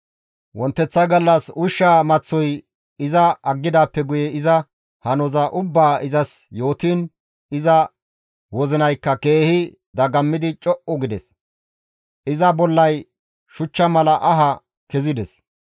Wonteththa gallas ushshaa maththoy iza aggidaappe guye iza hanoza ubbaa izas yootiin, iza wozinaykka keehi dagammidi co7u gides. Iza bollay shuchcha mala aha kezides.